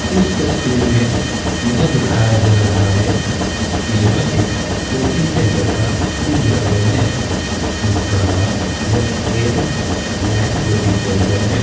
इस तस्वीर मे यह दिखाया जा रहा है की यह एक कोचिंग सेंटर का विज्ञापान है जिसका नाम the AM. Bank coaching centre है।